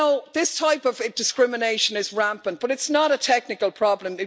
This type of discrimination is rampant, but it's not a technical problem.